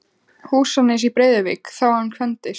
Húsanes í Breiðuvík þá hann kvæntist.